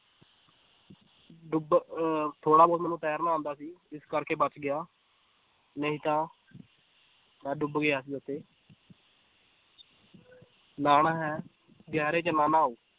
ਡੁੱਬ ਅਹ ਥੋੜ੍ਹਾ ਬਹੁਤ ਮੈਨੂੰ ਤੈਰਨਾ ਆਉਂਦਾ ਸੀ ਇਸ ਕਰਕੇ ਬਚ ਗਿਆ ਨਹੀਂ ਤਾਂ ਮੈਂ ਡੁੱਬ ਗਿਆ ਸੀ ਉੱਥੇ ਨਹਾਉਣਾ ਹੈ ਗਹਿਰੇ 'ਚ ਨਾ ਨਹਾਓ